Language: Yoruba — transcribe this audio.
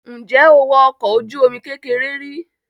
Ǹjẹ́ o wọ ọkọ̀ ojú-omi kékeré rí?